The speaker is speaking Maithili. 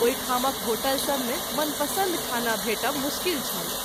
ओहि ठामक होटल सभ मे मन पसंद खाना भेटब मुश्किल छल।